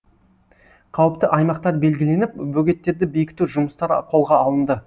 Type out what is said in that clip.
қауіпті аймақтар белгіленіп бөгеттерді бекіту жұмыстары қолға алынды